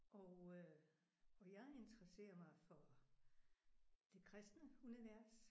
Og øh og jeg interesserer mig for det kristne univers